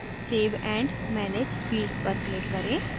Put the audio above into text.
save and manage fields पर click करें